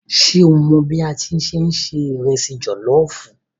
Ṣé o mọ̀ bí a ṣe ń se ìrẹsì jọ̀lọ́ọ̀fù?